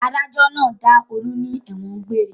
Adájọ́ náà dá Olú ní ẹ̀wọ̀n egbére.